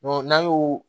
n'an y'o